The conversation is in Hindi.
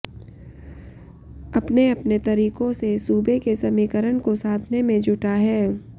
अपने अपने तरीकों से सूबे के समीकरण को साधने में जुटा है